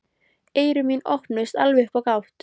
Eyru mín opnuðust alveg upp á gátt.